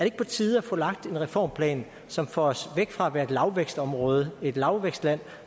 ikke på tide at få lagt en reformplan som får os væk fra at være et lavvækstområde et lavvækstland